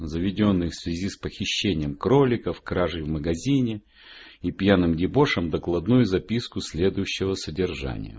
заведённый в связи с похищением кроликов кражей в магазине и пьяным дебошем докладную записку следующего содержания